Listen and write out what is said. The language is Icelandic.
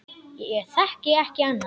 Ég þekki ekki annað.